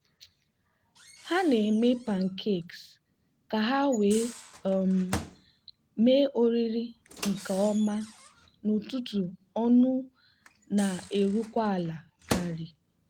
ha na-eme pancakes ka ha wee um mee oriri nke ọma n'ụtụtụ ọnụ na-erukwa ala karị.